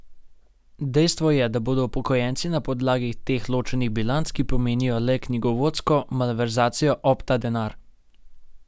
Dejstvo je, da bodo upokojenci na podlagi teh ločenih bilanc, ki pomenijo le knjigovodsko malverzacijo, ob ta denar.